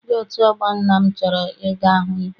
Ndị otu ọgbọ nna m chọrọ I ga hụ igwe.